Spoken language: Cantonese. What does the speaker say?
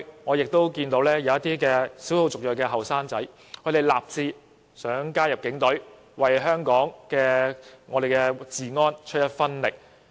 我亦曾見過一些少數族裔青年人立志加入警隊，希望為維持香港治安出一分力。